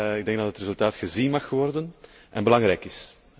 Ik denk dat het resultaat gezien mag worden en belangrijk is.